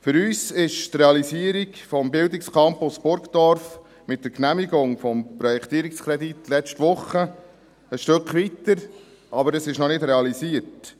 Für uns ist die Realisierung des Bildungscampus’ Burgdorf mit der Genehmigung des Projektierungskredits letzte Woche ein Stück weiter, aber er ist noch nicht realisiert.